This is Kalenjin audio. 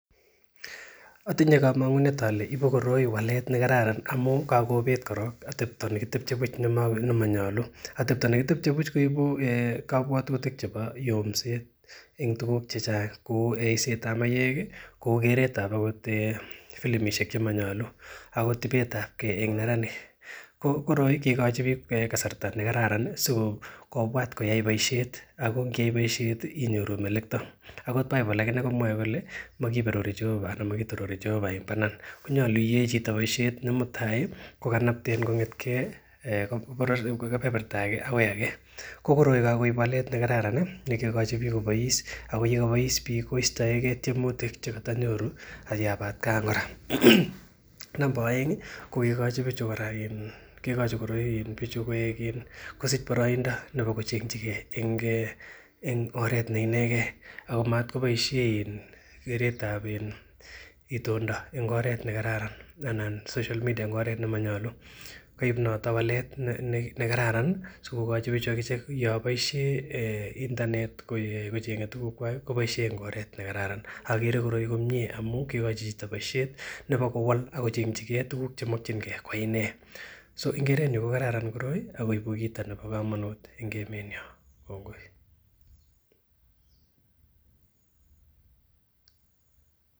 Otinye komong'unet ole ibu koroi walet nekararan amun kagobet korong atebto nekitebye buch , atebto nekitebye buch koibu kobwotuutik chebo yomset en tuugk che chang, kou yeiset ab maiywek kou keret ab filimishek che monyolu, agot ibet abge en neranik. KO koroi kiigochi biik kasarta nekararan sikobwat koyai boisiiet ago ngeyai boisiet inyoru melekto. Agot Bible agine komowoe kole mokiberuri Jehova ana mokitorori Jehova en banan konyolu iyae boisiet ne mutai ko kanapten kong'eten kebeberta agenge agoi age. Ko koroi kogoib walet nekaran ne kiigochi biik kobois ago yekobois biik koistoenge tyemutik che kotonyoru en atkan kora. Nebo oeng ko kiigochi bichu kora, kiigochi bichu kosich boroindo nebo kochengchi ge en oret ne inegen ago motkoboiisie keret ab itondo en oret nekaran anan social media en oret nemonyolu koib noton walet nekararan sikogochi bichu ak ichek yon boisiie internet kocheng'e tuguukwak koboiisien en oret ne kararan komie amun kiigochi boisiet nebo kowalak kochengchige tuguk chemokinge koine ko kerenyun ko kararan koroi ak koibu kit nebo komonut en emenyo.